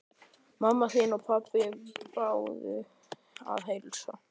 Mamma þín og pabbi báðu að heilsa.